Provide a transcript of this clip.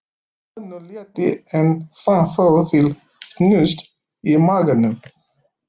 Honum létti en fann þó til hnúts í maganum.